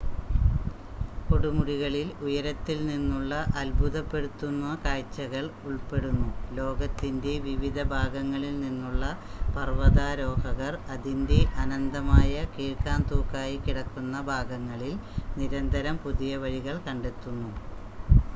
കൊടുമുടികളിൽ ഉയരത്തിൽ നിന്നുള്ള അത്ഭുതപ്പെടുത്തുന്ന കാഴ്ചകൾ ഉൾപ്പെടുന്നു ലോകത്തിൻ്റെ വിവിധ ഭാഗങ്ങളിൽ നിന്നുള്ള പർവതാരോഹകർ അതിൻ്റെ അനന്തമായ കീഴ്‌ക്കാംതൂക്കായി കിടക്കുന്ന ഭാഗങ്ങളിൽ നിരന്തരം പുതിയ വഴികൾ കണ്ടെത്തുന്നു